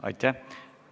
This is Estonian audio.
Aitäh!